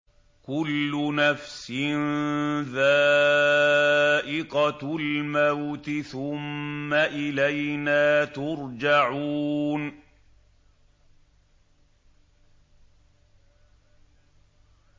كُلُّ نَفْسٍ ذَائِقَةُ الْمَوْتِ ۖ ثُمَّ إِلَيْنَا تُرْجَعُونَ